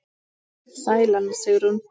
Sæl Anna Sigrún.